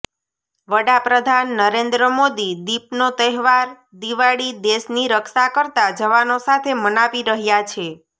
વડાપ્રધાન નરેન્દ્ર મોદી દીપનો તહેવાર દિવાળી દેશની રક્ષા કરતા જવાનો સાથે મનાવી રહ્યાં છે